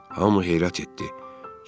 Hamı heyrət etdi.